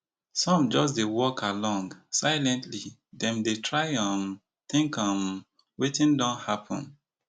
some just dey walk along silently dem dey try um think um wetin don happun